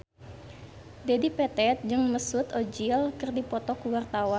Dedi Petet jeung Mesut Ozil keur dipoto ku wartawan